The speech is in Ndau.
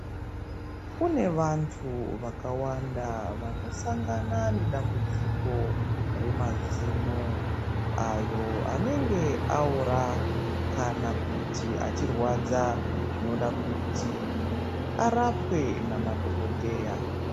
Kune vantu vakawanda vanosangana nedambudziko remazino. Ayo anenge aora kana kuti achirwadza zvinoda kuti arapwe namadhokodheya.